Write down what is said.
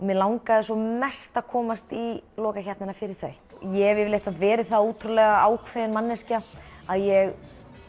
mig langaði mest að komast í lokakeppnina fyrir þau ég hef yfirleitt verið það ákveðin manneskja að ég